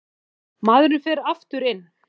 Maðurinn fer aftur inn.